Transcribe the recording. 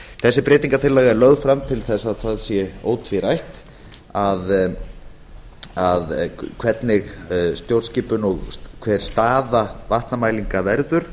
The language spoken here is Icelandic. þessi breytingartillaga er lögð fram til þess að það sé ótvírætt hvernig stjórnskipun og hver staða vatnamælinga verður